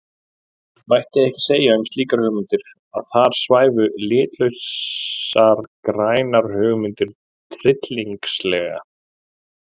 Mætti ekki segja um slíkar hugmyndir að þar svæfu litlausar grænar hugmyndir tryllingslega?